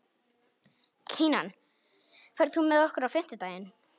Kinan, ferð þú með okkur á fimmtudaginn?